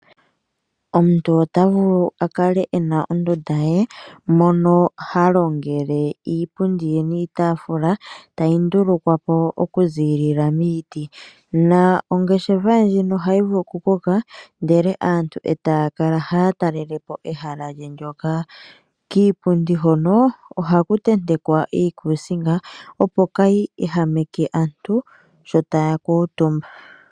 Omuntu otavulu akale ena ondunda ye mono ha longele iipundi ye niitafula tayi ndulukwapo oku ziilila miiti na ongeshefa ndjino ohayi vulu oku koka ndele aantu taya kala haya talelapo ehala ndjoka kiipundi hono ohaku tentekwa iikusinga opo kayi ehameke aantu sho taya kuutumba.